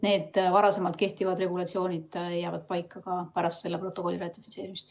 Need varasemalt kehtivad regulatsioonid jäävad paika ka pärast selle protokolli ratifitseerimist.